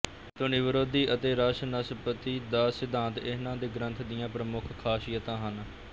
ਧੁਨੀਵਿਰੋਧੀ ਅਤੇ ਰਸ ਨਿਸ਼ਪੱਤੀ ਦਾ ਸਿਧਾਂਤ ਇਹਨਾਂ ਦੇ ਗ੍ਰੰਥ ਦੀਆਂ ਪ੍ਰਮੁੱਖ ਖਾਸੀਅਤਾ ਹਨ